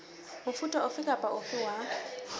mofuta ofe kapa ofe wa